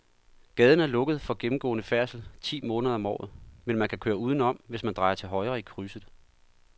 Gaden er lukket for gennemgående færdsel ti måneder om året, men man kan køre udenom, hvis man drejer til højre i krydset.